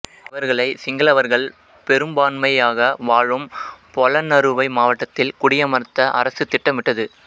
இவர்களை சிங்களவர்கள் பெரும்பான்மையாக வாழும் பொலன்னறுவை மாவட்டத்தில் குடியமர்த்த அரசு திட்டமிட்டது